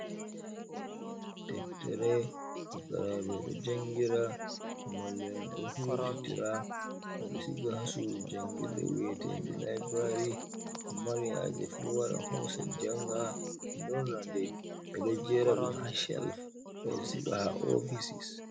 Deftere fukaraɓe ɗo jangira, mallu en ɗo huditira, ɓe ɗo siga ha sudu jangirde weteɗe laibrari, mo mari haje fu wara hosa janga nden, ɓe ɗo jera ɗum ha shelif, ɓe ɗo siga ha ofisis.